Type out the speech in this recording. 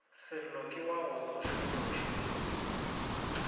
sello ke wa go tsošološa